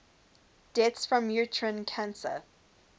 deaths from uterine cancer